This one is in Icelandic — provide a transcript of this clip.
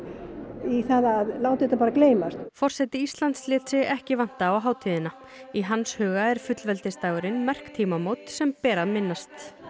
í það að láta þetta bara gleymast forseti Íslands lét sig ekki vanta á hátíðina í hans huga er fullveldisdagurinn merk tímamót sem ber að minnast